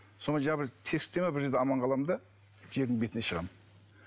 сонымен жаңағы бір тесікте ме бір жерде аман қаламын да жердің бетіне шығамын